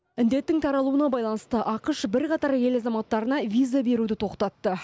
індеттің таралуына байланысты ақш бірқатар ел азаматтарына виза беруді тоқтатты